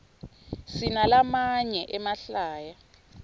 sinalamaye emahlaya